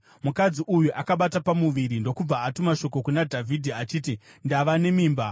Mukadzi uyu akabata pamuviri ndokubva atuma shoko kuna Dhavhidhi achiti, “Ndava nemimba.”